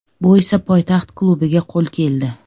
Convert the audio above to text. Bu esa poytaxt klubiga qo‘l keldi.